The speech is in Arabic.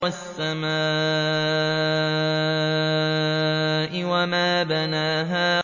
وَالسَّمَاءِ وَمَا بَنَاهَا